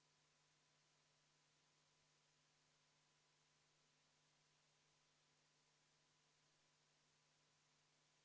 Tahes-tahtmata, vaadates nendele numbritele otsa, tekib lihtne järeldus, et lihtsalt üritatakse inimestelt rohkem raha võtta nende toimingute eest, mis on inimestele kohati hädavajalikud ehk ilma nende toiminguteta nad kuidagi edasi minna ei saa.